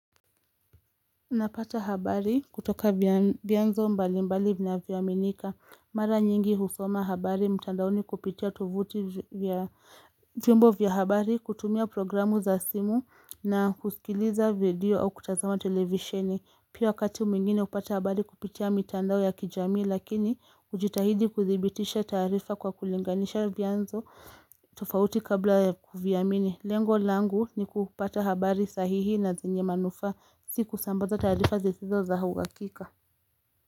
Napata habari kutoka vyanzo mbali mbali vinavyo aminika. Mara nyingi husoma habari mtandaoni kupitia tuvuti vya vyombo vya habari kutumia programu za simu na kusikiliza video au kutazama televisheni. Pia wakati mwingine upata habari kupitia mitandao ya kijamii lakini, ujitahidi kudhibitisha taarifa kwa kulinganisha vyanzo tufauti kabla ya kuviamini Lengo langu ni kupata habari sahihi na zenye manufaa si kusambaza taarifa zizizo za huakika.